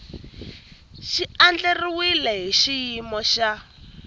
xi andlariwile hi xiyimo xa